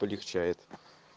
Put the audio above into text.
полегчает